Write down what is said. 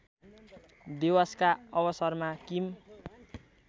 दिवसका अवसरमा किम